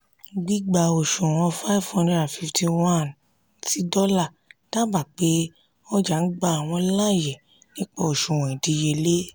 gbígbá òṣùwò̀n five hundred fifty one ti dollar dábàá pé ọjà ń gba àwọn láàyè nípa ìdíyelé.